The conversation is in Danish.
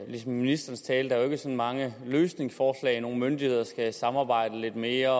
i ministerens tale sådan mange løsningsforslag nogle myndigheder skal samarbejde lidt mere